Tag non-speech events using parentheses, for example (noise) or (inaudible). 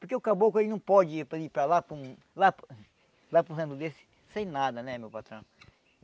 Porque o caboclo, ele não pode ir ir para lá, para um... Lá para um lá para um (unintelligible) desse, sem nada, né, meu patrão?